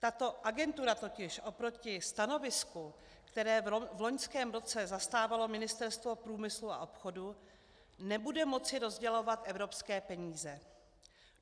Tato agentura totiž oproti stanovisku, které v loňském roce zastávalo Ministerstvo průmyslu a obchodu, nebude moci rozdělovat evropské peníze.